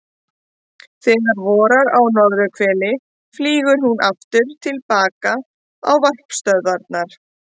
Þegar vorar á norðurhveli flýgur hún aftur til baka á varpstöðvarnar.